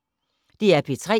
DR P3